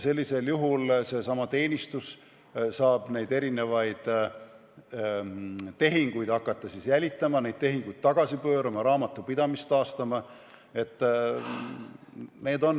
Sellisel juhul saab seesama teenistus hakata erinevaid tehinguid jälitama, neid tehinguid tagasi pöörama, raamatupidamist taastama jne.